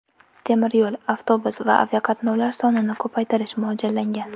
Temir yo‘l, avtobus va aviaqatnovlar sonini ko‘paytirish mo‘ljallangan.